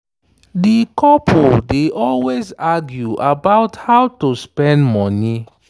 di couple dey always argue about how to spend money.